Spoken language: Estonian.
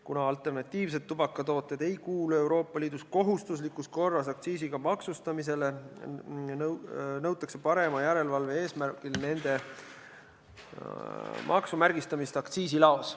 Kuna alternatiivsed tubakatooted ei kuulu Euroopa Liidus kohustuslikus korras aktsiisiga maksustamisele, nõutakse parema järelevalve eesmärgil nende maksumärgistamist aktsiisilaos.